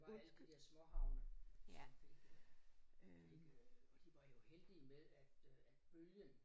Det var alle de der småhavne som fik øh fik øh og de var jo heldige med at øh at bølgen